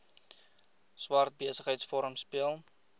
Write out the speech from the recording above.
swart besigheidsforum speel